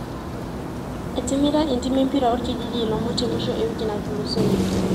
Etimira entiim empira orkijiji ilomon te musho e wiki natulusoyie.